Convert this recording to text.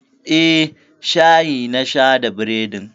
Eh, shayi na sha da bredin.